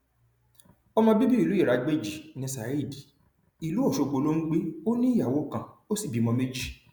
ọmọ bíbí ìlú iragbéjì ní [ saheed ìlú ọṣọgbó ló ń gbé ó ní ìyàwó kan ó sì bímọ méjì